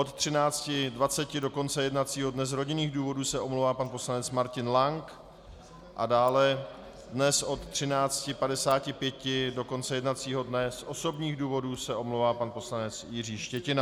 Od 14.20 do konce jednacího dne z rodinných důvodů se omlouvá pan poslanec Martin Lang a dále dnes od 13.55 do konce jednacího dne z osobních důvodů se omlouvá pan poslanec Jiří Štětina.